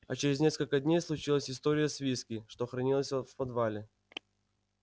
а через несколько дней случилась история с виски что хранилось во в подвале